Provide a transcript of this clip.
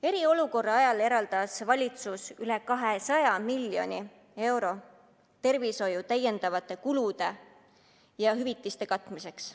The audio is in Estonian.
Eriolukorra ajal eraldas valitsus üle 200 miljoni euro tervishoiu täiendavate kulude ja makstavate hüvitiste katmiseks.